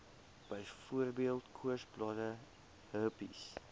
byvoorbeeld koorsblare herpes